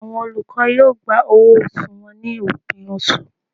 Awọn olukọ yoo gbá ọwọ osù wọn ni opin oṣú